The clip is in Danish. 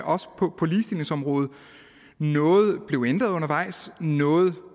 også på ligestillingsområdet noget blev ændret undervejs og noget